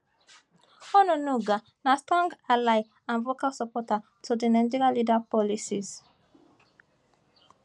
onunuga na strong ally and vocal supporter to di nigerian leader policies